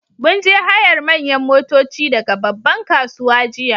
Mun je hayar manyan motoci daga babban kasuwa jiya